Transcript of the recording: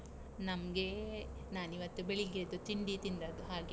ನಮ್ಗೇ ನಾನ್ ಇವತ್ತು ಬೆಳಿಗ್ಗೆದು ತಿಂಡಿ ತಿಂದದ್ದು ಹಾಗೆ.